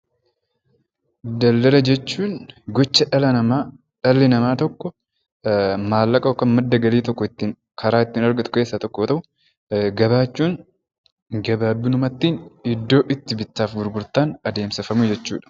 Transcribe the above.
Daldala jechuun gocha dhalli namaa tokko maallaqa yookaan madda galii karaa ittiin argatu keessaa tokko yoo ta'u; Gabaa jechuun gabaabinumatti iddoo itti bittaaf gurgurtaan adeemsifamu jechuu dha.